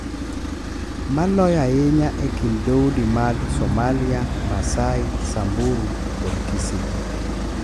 Maloyo ahinya e kind dhoudi mag Somalia, Maasai, Samburu, kod Kisii.